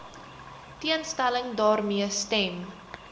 teenstelling daarmee stem